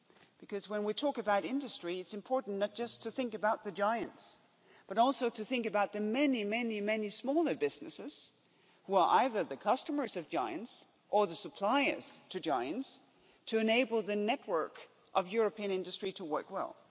Because when we talk about industry, it's important not just to think about the giants, but also to think about the many smaller businesses who are either the customers of giants or the suppliers to giants to enable the network of European industry to work well.